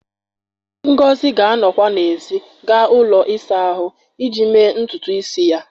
Ngọzi ga-anọkwa n'èzí gaa ụlọ ịsa ahụ iji mee ntutu isi ya